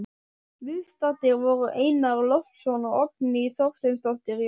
Viðstaddir voru Einar Loftsson og Oddný Þorsteinsdóttir, Jón